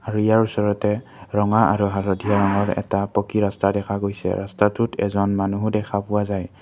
আৰু ইয়াৰ ওচৰতে ৰঙা আৰু হালধীয়া ৰঙৰ এটা পকী ৰাস্তা দেখা গৈছে ৰাস্তাটোত এজন মানুহো দেখা পোৱা যায়।